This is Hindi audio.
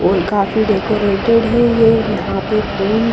और काफी डेकोरेटेड है ये यहां पे फूल--